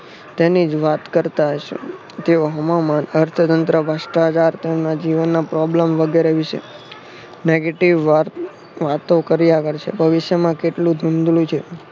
તેની જ વાત કરતા હશે. તેઓ અર્થતંત્ર ભ્ર્ષ્ટાચાર તેમના જીવનનો problem વગેરે વિષે negative વાતો કર્યા કરશે ભવિષ્યમાં કેટલું છે.